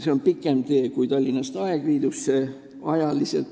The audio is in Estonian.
See on ajaliselt pikem tee kui Tallinnast Aegviitu.